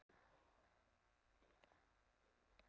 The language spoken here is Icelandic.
Við gefum honum ekkert tækifæri til þess, sagði Ási.